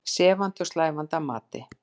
Sefandi og slævandi að mati